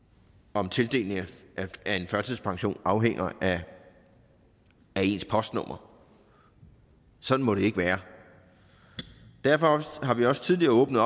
om tildelingen af førtidspension afhænger af ens postnummer sådan må det ikke være derfor har vi også tidligere åbnet